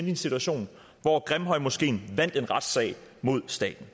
i en situation hvor grimhøjmoskeen vandt en retssag mod staten